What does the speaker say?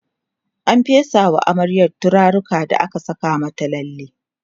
an fesa wa amaryar turaruka da aka Saka mata lalle